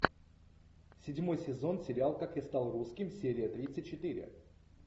седьмой сезон сериал как я стал русским серия тридцать четыре